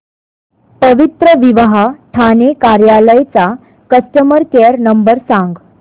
पवित्रविवाह ठाणे कार्यालय चा customer care number सांग